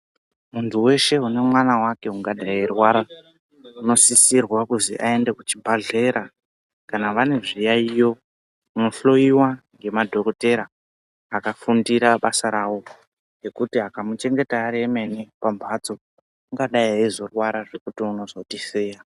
Muntu weshe une mwana wake ungadai eirwara unosirwa kuti aende kuchibhedhlera kana vane zviyayiyo vanohloiya ngemadhokodheya akafundira basa ravo ngekuti vakamuchengeya vemene ungai eizorwara zvekuti unozotisiya.